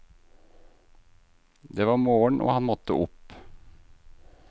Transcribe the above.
Det var morgen og han måtte opp.